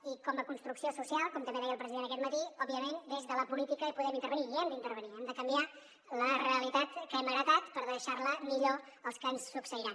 i com a construcció social com també deia el president aquest matí òbviament des de la política hi podem intervenir i hi hem d’intervenir hem de canviar la realitat que hem heretat per deixar la millor als que ens succeiran